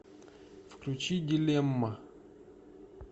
включи дилемма